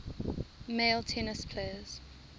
male tennis players